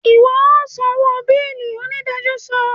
Iwọ o sanwó beeli! onidajọ sọ